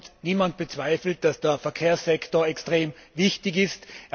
Und niemand bezweifelt, dass der Verkehrssektor extrem wichtig ist.